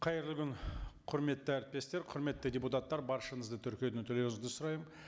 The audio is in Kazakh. қайырлы күн құрметті әріптестер құрметті депутаттар баршаңызды тіркеуден өтулеріңізді сұраймын